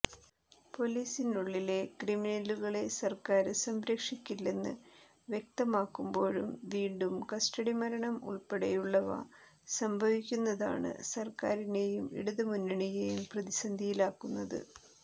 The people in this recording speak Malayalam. പൊലീസിനുള്ളിലെ ക്രമിനലുകളെ സര്ക്കാര് സംരക്ഷിക്കില്ലെന്ന് വ്യക്തമാക്കുമ്പോഴും വീണ്ടും കസ്റ്റഡിമരണം ഉള്പ്പെടെയുള്ളവ സംഭവിക്കുന്നതാണ് സര്ക്കാറിനെയും ഇടതുമുന്നണിയെയും പ്രതിസന്ധിയിലാക്കുന്നത്